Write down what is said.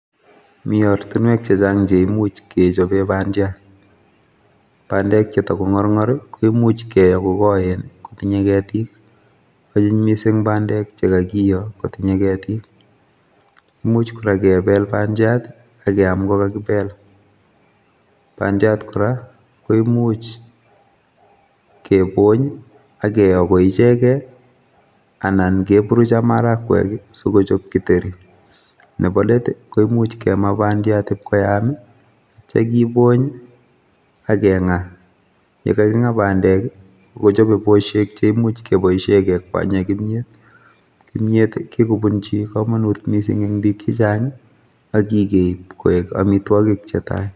Mi ortinwek chechang cheimuch kechoben bandiat, bandek chetakongorngor koimuch kokoen kotinye keetik. Anyiny missing bandek chekakiyoo kotinye keetik, much kora kebel bandiat akkeam ko kakibel. Bandiat kora koimuch kibonyak kiyoo ko ichegen anan keburuch ak maragwek sikochob githeri. Nebo let koimuch kemaa bandiat ipkoyaam yeittoo kibonyii akengaa, yekakingaa bandek kochobe busiek cheimuche kekwanyen kimiet